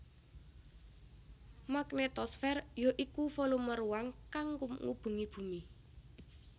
Magnetosfer ya iku volume ruang kang ngubengi bumi